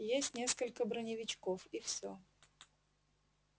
есть несколько бронивечков и всё